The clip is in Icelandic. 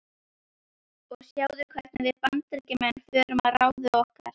Og sjáðu hvernig við Bandaríkjamenn fórum að ráði okkar.